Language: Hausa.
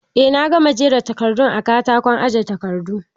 Eh na gama jera takardun a katakon aje takardu.